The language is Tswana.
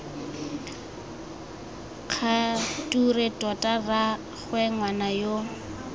kgature tota rraagwe ngwana yo